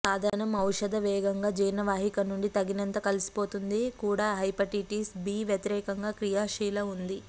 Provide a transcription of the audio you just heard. సాధనం ఔషధ వేగంగా జీర్ణ వాహిక నుండి తగినంత కలిసిపోతుంది కూడా హెపటైటిస్ బి వ్యతిరేకంగా క్రియాశీల ఉంది